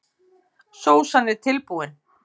Sósan er tilbúin.